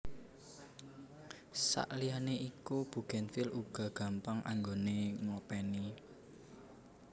Sakliyane iku bugenvil uga gampang anggoné ngopèni